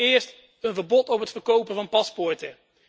Allereerst, een verbod op het verkopen van paspoorten.